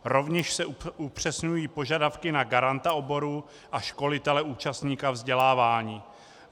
Rovněž se upřesňují požadavky na garanta oboru a školitele účastníka vzdělávání.